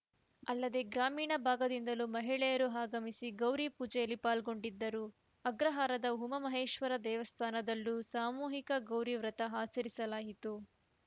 ಅಲ್ಲದೆ ಗ್ರಾಮೀಣ ಭಾಗದಿಂದಲೂ ಮಹಿಳೆಯರು ಆಗಮಿಸಿ ಗೌರಿ ಪೂಜೆಯಲ್ಲಿ ಪಾಲ್ಗೊಂಡಿದ್ದರುಅಗ್ರಹಾರದ ಉಮಾಮಹೇಶ್ವರ ದೇವಸ್ಥಾನದಲ್ಲೂ ಸಾಮೂಹಿಕ ಗೌರಿ ವೃತ ಆಚರಿಸಲಾಯಿತು